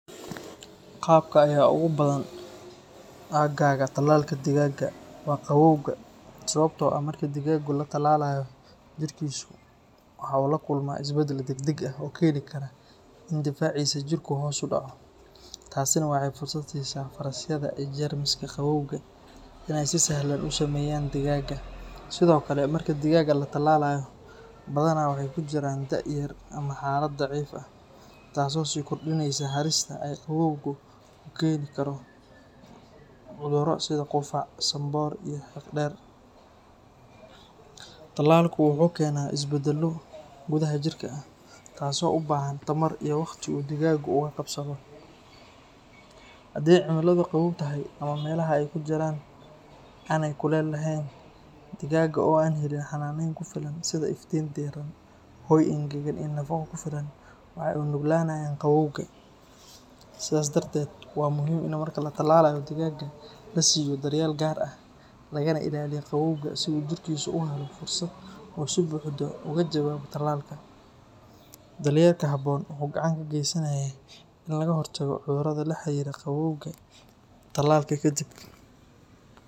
Qabka ayaa ugu badan agaga tallalka digaagga waa qabowga, sababta oo ah marka digaaggu la tallaalayo, jirkiisu waxa uu la kulmaa isbeddel degdeg ah oo keeni kara in difaaciisa jirku hoos u dhaco. Taasina waxay fursad siisaa fayrasyada iyo jeermiska qabowga in ay si sahlan u saameeyaan digaagga. Sidoo kale, marka digaagga la tallaalayo, badanaa waxay ku jiraan da’ yar ama xaalad daciif ah, taas oo sii kordhinaysa halista ay qabowgu ku keeni karo cudurro sida qufac, sanboor iyo xiiqdheer. Tallaalku wuxuu ku keenaa isbeddello gudaha jirka ah, taasoo u baahan tamar iyo waqti uu digaaggu uga kabsado. Haddii cimiladu qabow tahay ama meelaha ay ku jiraan aanay kuleyl lahayn, digaagga oo aan helin xanaaneyn ku filan, sida iftiin diiran, hoy engegan, iyo nafaqo ku filan, waxay u nuglaanayaan qabowga. Sidaas darteed, waa muhiim in marka la tallaalayo digaagga la siiyo daryeel gaar ah, lagana ilaaliyo qabowga si uu jirkiisu u helo fursad uu si buuxda uga jawaabo tallaalka. Daryeelka habboon wuxuu gacan ka geysanayaa in laga hortago cudurrada la xiriira qabowga tallaalka kadib.